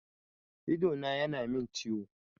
Idona ya na min ciwo